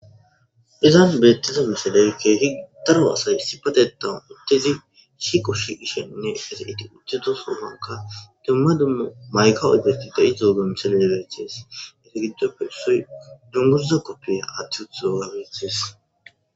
Ezan betizza missiley kehi darro asay issipetethan shiqo shiqishe utidasankka dumma dumma maykka oyqidi deyizzoga misilley beses hegidoppe dunguzza kopiya wothida issi bitanney dizzayssa besses.